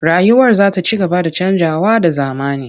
Rayuwar za ta ci gaba da canjawa da zamani.